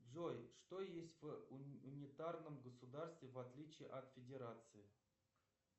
джой что есть в унитарном государстве в отличии от федерации